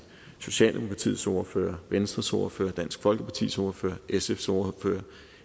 socialdemokratiets ordfører venstres ordfører dansk folkepartis ordfører sfs ordfører